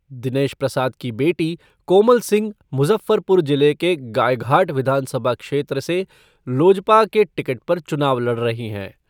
दिनेश प्रसाद की बेटी कोमल सिंह मुजफ़्फ़रपुर जिले के गायघाट विधानसभा क्षेत्र से लोजपा के टिकट पर चुनाव लड़ रही हैं।